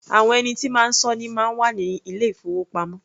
Àwọn ẹni tí máa sọ́ ni máa ń wà ní ilé-ìfowópamọ́.